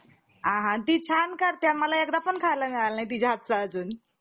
तूच विचार करून पहा कि, मनुष्य आणि मासा, यांच्या अवयवात, आहारात, निन्द्रेत~ निद्रेत, मैन्थ~ मंथुनात आणि उत्पत्तीत,